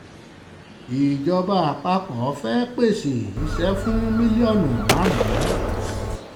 ìjọba àpapọ̀ fẹ́ẹ́ pèsè iṣẹ́ fún mílíọ̀nù márùn